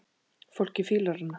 Fólkið fílar hana.